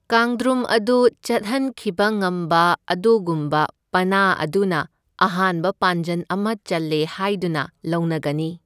ꯀꯥꯡꯗ꯭ꯔꯨꯝ ꯑꯗꯨ ꯆꯠꯍꯟꯈꯤꯕ ꯉꯝꯕ ꯑꯗꯨꯒꯨꯝꯕ ꯄꯅꯥ ꯑꯗꯨꯅ ꯑꯍꯥꯟꯕ ꯄꯥꯟꯖꯟ ꯑꯃ ꯆꯜꯂꯦ ꯍꯥꯏꯗꯨꯅ ꯂꯧꯅꯒꯅꯤ꯫